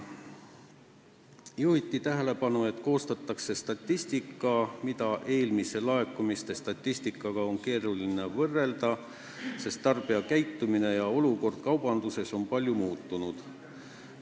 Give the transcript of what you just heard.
Juhiti tähelepanu, et koostatakse statistika, mida on keeruline eelmise laekumiste statistikaga võrrelda, sest tarbijate käitumine ja olukord kaubanduses on palju muutunud.